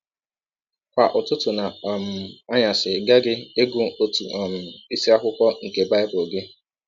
Kwa ụtụtụ na um anyasị ị ghaghị ịgụ ọtụ um isiakwụkwọ nke Bible gị. ”